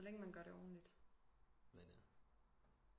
Så længe man gør det ordentligt